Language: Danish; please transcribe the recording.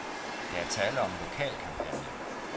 Der er tale om en lokal kampagne.